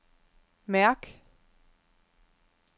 mærk